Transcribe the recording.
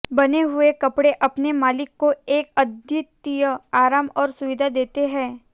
बुने हुए कपड़े अपने मालिक को एक अद्वितीय आराम और सुविधा देते हैं